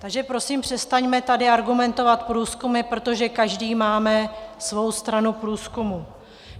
Takže prosím, přestaňme tady argumentovat průzkumy, protože každý máme svou stranu průzkumů.